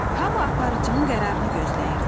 Hama aparıcının qərarını gözləyirdi.